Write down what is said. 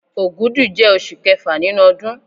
Ògùdù jẹ́ osù kẹfà nínú ọdún